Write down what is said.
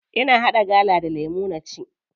Ina haɗa gala da lemu na ci.